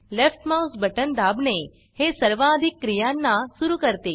left mouse button दाबणे हे सर्वाधिक क्रियांना सुरू करते